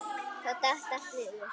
Þá datt allt niður.